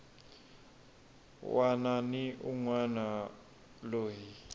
wana ni un wana loyi